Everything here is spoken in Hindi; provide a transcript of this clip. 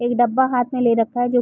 एक डब्बा हाथ मै ले रखा है जो --